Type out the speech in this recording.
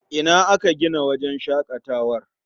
Ina aka gina wajen shaƙatawar?